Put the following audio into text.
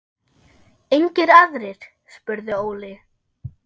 Engir aðrir? spurði Óli.